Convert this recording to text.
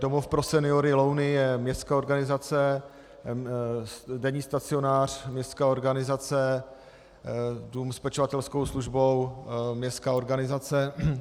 Domov pro seniory Louny je městská organizace, denní stacionář, městská organizace, dům s pečovatelskou službou, městská organizace.